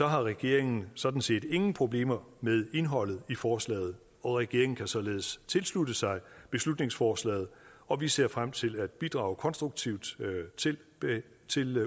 har regeringen sådan set ingen problemer med indholdet i forslaget regeringen kan således tilslutte sig beslutningsforslaget og vi ser frem til at bidrage konstruktivt til